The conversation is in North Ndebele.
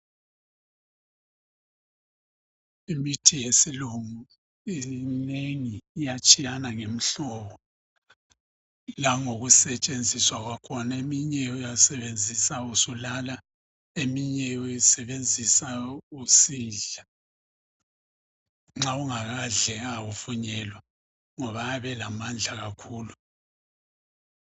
Imithi yesilungu iminengi iyatshiyana ngemihlobo, langokusetshenziswa kwakhona. Eminye uyasebenzisa usulala eminye uyisebenzisa susidla nxa ungakadli awuvunyelwa ngoba ayabe elamandla kakhulu.